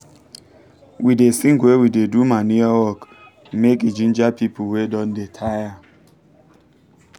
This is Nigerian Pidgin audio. we da sing when we da do manure work make e ginger people wey don da taya